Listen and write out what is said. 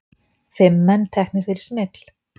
Fimm menn teknir fyrir smygl